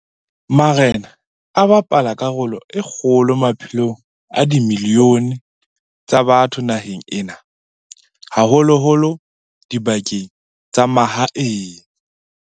Marena a bapala karolo e kgolo maphelong a dimilione tsa batho naheng ena, haholo-holo dibakeng tsa mahaeng.